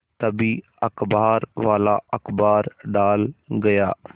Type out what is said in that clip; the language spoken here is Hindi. तभी अखबारवाला अखबार डाल गया